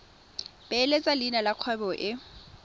beeletsa leina la kgwebo e